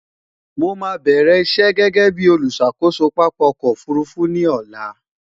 mó má bẹrẹ iṣé gégé bí oluṣàkoso pápá ọkọ òfurufú ní ọlá